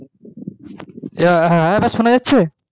হ্যাঁ হ্যাঁ এবার শুনা যাচ্ছে